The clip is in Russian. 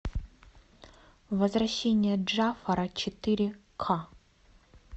возвращение джафара четыре ка